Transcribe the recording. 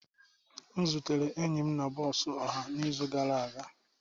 M zutere enyi m na bọs ọha n'izu gara aga.